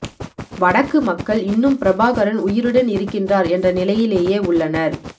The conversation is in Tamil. வடக்கு மக்கள் இன்னும் பிரபாகரன் உயிருடன் இருக்கின்றார் என்ற நிலையிலேயே உள்ளனர்